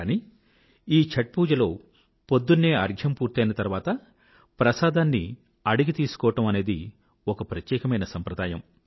కాని ఈ ఛాత్ పూజలో పొద్దున్నే అర్ఘ్యం పూర్తయిన తర్వాత ప్రసాదాన్ని అడిగి తీసుకోవడం అనేది ఒక ప్రత్యేకమైన సాంప్రదాయం